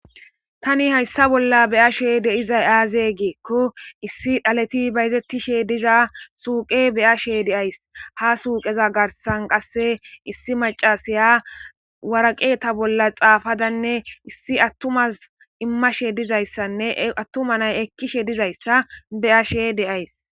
tani hayssa bolla beyashe deizay aaze geekko issi dhaleti bayzettishe diza suuqe beyashe deays ha suuqeza garsan qasse issi macasaya waraqe ta bolla xaafadanne issi attumas immashe dizayssanne attumanay ekkishe dizayssa beashe deays